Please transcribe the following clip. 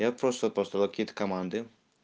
я просто построил какие-то команды